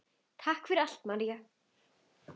Takk fyrir allt, María.